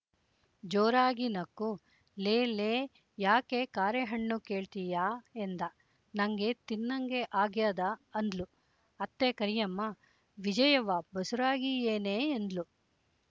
ಜೋರಾಗಿ ನಕ್ಕು ಲೇಲೇ ಯಾಕೇ ಕಾರೆಹಣ್ಣು ಕೇಳ್ತಿಯಾ ಎಂದ ನಂಗೆ ತಿನ್ನಂಗೆ ಆಗ್ಯದೆ ಅಂದ್ಲು ಅತ್ತೆ ಕರಿಯಮ್ಮ ವಿಜಯವ್ವ ಬಸುರಾಗಿಯೇನೇ ಎಂದ್ಲು